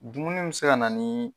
Dumuni bɛ se ka na ni